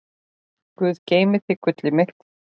Guð geymi þig, gullið mitt.